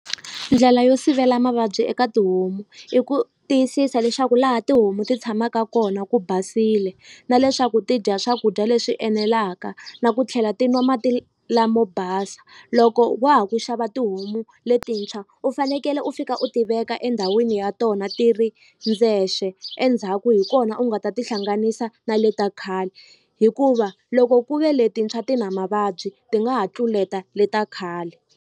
Ndlela yo sivela mavabyi eka tihomu i ku tiyisisa leswaku laha tihomu ti tshamaka kona ku basile na leswaku ti dya swakudya leswi enelaka na ku tlhela ti nwa mati lamo basa loko wa ha ku xava tihomu letintshwa u fanekele u fika u ti veka endhawini ya tona ti ri ndzexe endzhaku hi kona u nga ta tihlanganisa na le ta khale hikuva loko ku ve letintshwa ti na mavabyi ti nga ha tluleta le ta khale.